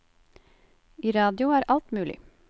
I radio er alt mulig.